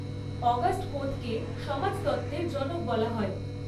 August কোঁৎকে সমাজতত্ত্বের জনক বলা হয়।